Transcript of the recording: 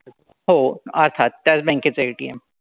हो. अर्थात त्याच bank चं ATM.